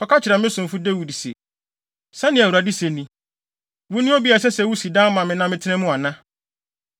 “Kɔka kyerɛ me somfo Dawid se, ‘Sɛnea Awurade se ni: Wone obi a ɛsɛ sɛ wusi dan ma me na metena mu ana?